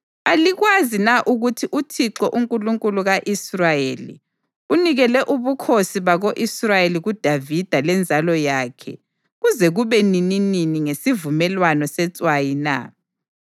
Alikwazi na ukuthi uThixo, uNkulunkulu ka-Israyeli, unikele ubukhosi bako-Israyeli kuDavida lenzalo yakhe kuze kube nininini ngesivumelwano setswayi na?